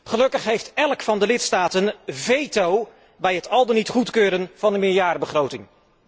Gelukkig heeft elk van de lidstaten veto bij het al dan niet goedkeuren van de meerjarenbegroting.